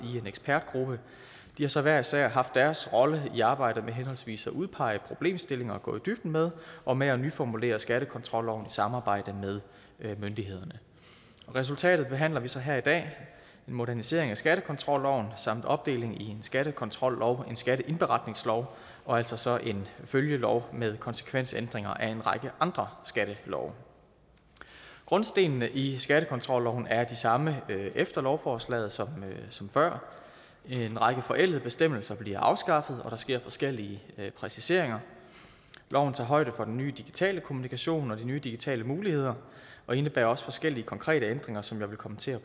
i en ekspertgruppe de har så hver især haft deres rolle i arbejdet med henholdsvis at udpege problemstillinger at gå i dybden med og med at nyformulere skattekontrolloven samarbejde med myndighederne resultatet behandler vi så her i dag en modernisering af skattekontrolloven samt en opdeling i en skattekontrollov og en skatteindberetningslov og altså så en følgelov med konsekvensændringer af en række andre skattelove grundstenene i skattekontrolloven er de samme efter lovforslaget som som før en række forældede bestemmelser bliver afskaffet og der sker forskellige præciseringer loven tager højde for den nye digitale kommunikation og de nye digitale muligheder og indebærer også forskellige konkrete ændringer som jeg vil kommentere